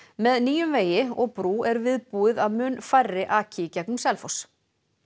með nýjum vegi og brú er viðbúið að mun færri aki í gegnum Selfoss